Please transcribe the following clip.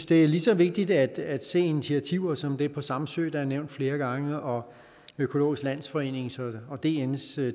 det er lige så vigtigt at se initiativer som det på samsø der er nævnt flere gange og økologisk landsforening og dns